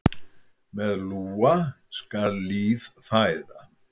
Með lúa skal líf fæða.